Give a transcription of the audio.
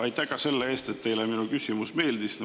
Aitäh ka selle eest, et teile minu küsimus meeldis!